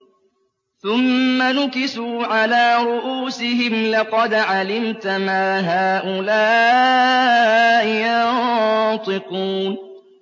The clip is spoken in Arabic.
ثُمَّ نُكِسُوا عَلَىٰ رُءُوسِهِمْ لَقَدْ عَلِمْتَ مَا هَٰؤُلَاءِ يَنطِقُونَ